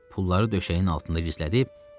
Pulları döşəyin altında gizlədib çarpayıya uzandı.